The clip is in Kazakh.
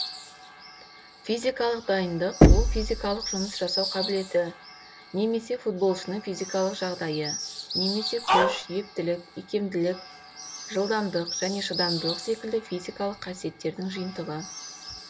физикалық дайындық ол физикалық жұмыс жасау қабілеті немесе футболшының физикалық жағдайы немесе күш ептілік икемділік жылдамдық және шыдамдылық секілді физикалық қасиеттердің жиынтығы